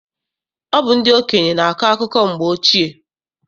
Ọ bụ ndị okenye na-akọ akụkọ mgbe ochie.